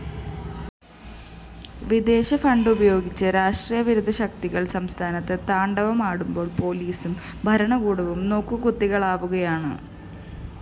വിദേശഫണ്ടുപയോഗിച്ച് രാഷ്ട്രവിരുദ്ധ ശക്തികള്‍ സംസ്ഥാനത്ത് താണ്ഡവമാടുമ്പോള്‍ പോലീസും ഭരണകൂടവും നോക്കുകുത്തികളാവുകയാണ്